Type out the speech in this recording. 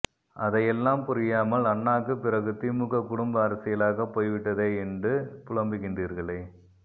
அதை எல்லாம் புரியாமல் அண்ணாக்கு பிறகு திமுக குடும்ப அரசியலாகப் போய்விட்டதே எண்டு புலம்புகின்றீர்களே